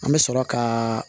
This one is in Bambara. An bɛ sɔrɔ ka